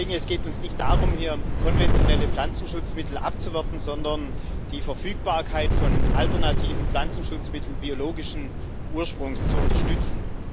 Es geht uns nicht darum, hier konventionelle Pflanzenschutzmittel abzuwerten, sondern die Verfügbarkeit von alternativen Pflanzenschutzmitteln biologischen Ursprungs zu unterstützen.